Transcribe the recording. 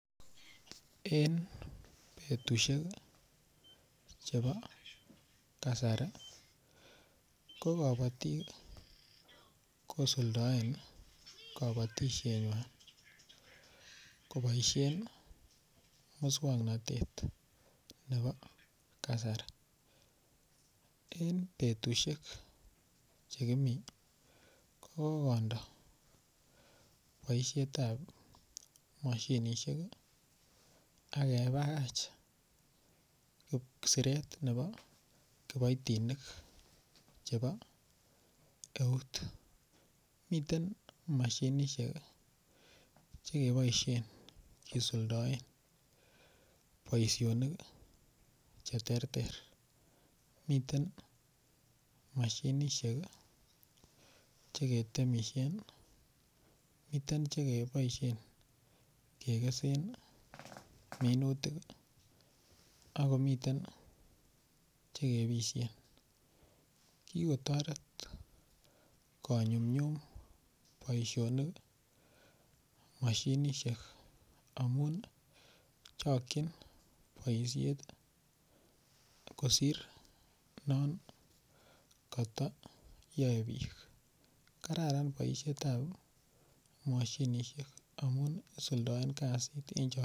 En betushek chebo kasari ko kobotik kosuldoen kabotishengwai koboishe muswongnotet nebo kasari eng betushek chekimii ko kokondo boishet ap mashinishek akebakach siret nebo kiboitinik chebo eut miten mashinishek chekeboishen keisuldaen boishonik che ter ter miten mashinishek cheketemishen miten chekeboishe kekesen minutik akomiten cheke ebishe kikotoret konyumnyum boishonik mashinishek amun chokchin boishet kosir non katayoe biik kararan boishet ap mashinishek amun isuldaen kasit ing' chok.